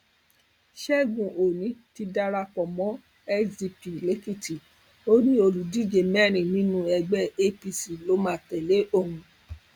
ṣẹgun òní ti darapọ pọ mọ sdp lèkìtì ó ní olùdíje mẹrin nínú ẹgbẹ apc ló máa tẹlé òun